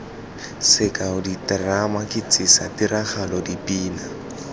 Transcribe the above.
sekao diterama ketsisa tiragalo dipina